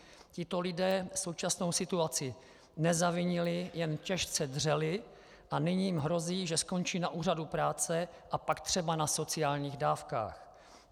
Tito lidé současnou situaci nezavinili, jen těžce dřeli a nyní jim hrozí, že skončí na úřadu práce a pak třeba na sociálních dávkách.